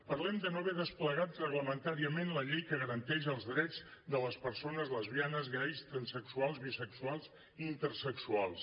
parlem de no haver desplegat reglamentàriament la llei que garanteix els drets de les persones lesbianes gais transsexuals bisexuals i intersexuals